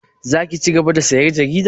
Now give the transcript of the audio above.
Za ki cigaba da sayan jarida?